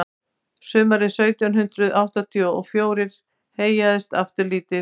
sumarið sautján hundrað áttatíu og fjórir heyjaðist aftur lítið